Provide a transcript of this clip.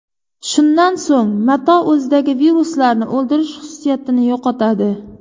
Shundan so‘ng mato o‘zidagi viruslarni o‘ldirish xususiyatini yo‘qotadi.